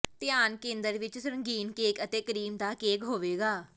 ਧਿਆਨ ਕੇਂਦਰ ਵਿਚ ਰੰਗੀਨ ਕੇਕ ਅਤੇ ਕਰੀਮ ਦਾ ਕੇਕ ਹੋਵੇਗਾ